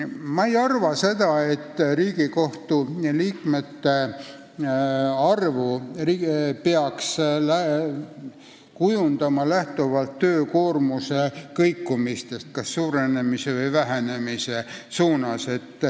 Ma ei arva, et Riigikohtu liikmete arvu peaks kujundama lähtuvalt töökoormuse kõikumisest kas suurenemise või vähenemise suunas.